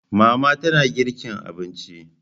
Mama tana girki abinci